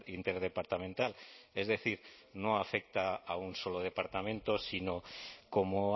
interdepartamental es decir no afecta a un solo departamento sino como